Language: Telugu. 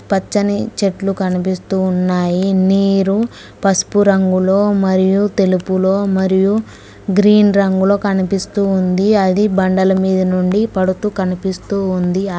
పచ్చని చెట్లు కనిపిస్తూ ఉన్నాయి నీరు పసుపు రంగులో మరియు తెలుపులో మరియు గ్రీన్ రంగులో కనిపిస్తుంది అది బండల మీద నుండి పడుతూ కనిపిస్తూ ఉంది.